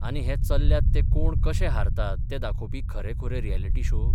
आनी हे चल्ल्यात ते कोण कशे हारतात ते दाखोवपी खरेखुरे रियलिटी शो?